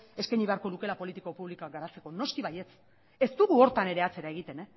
eskaini beharko lukeela politika publikoak garatzeko noski baietz ez dugu horretan atzera egiten